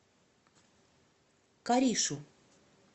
каришу